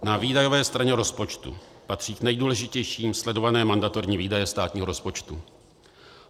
Na výdajové straně rozpočtu patří k nejdůležitějším sledované mandatorní výdaje státního rozpočtu.